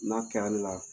N'a kɛra ale la